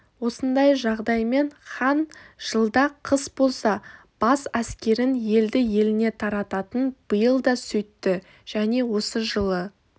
осындай жағдаймен хан жылда қыс бола бас әскерін елді-еліне тарататын биыл да сөйтті және осы жылы